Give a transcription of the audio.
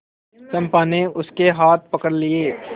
चंपा ने उसके हाथ पकड़ लिए